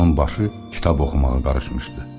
Onun başı kitab oxumağa qarışmışdı.